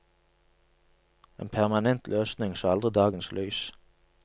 En permanent løsning så aldri dagens lys.